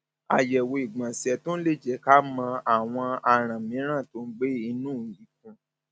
àyẹwò ìgbọnsẹ tún lè jẹ ká mọ àwọn aràn mìíràn tó ń gbé inú ikùn